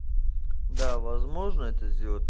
да возможно это сделать